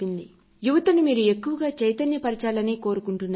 యువతీయవుకులను మీరు ఎక్కువగా చైతన్యపర్చాలని కోరుకుంటున్నాను